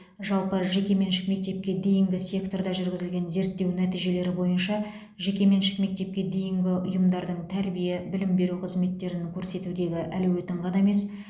жалпы жекеменшік мектепке дейінгі секторда жүргізілген зерттеу нәтижелері бойынша жекеменшік мектепке дейінгі ұйымдардың тәрбие білім беру қызметтерін көрсетудегі әлеуетін ғана емес